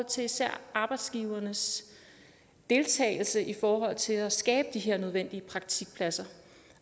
til især arbejdsgivernes deltagelse i forhold til at skabe de her nødvendige praktikpladser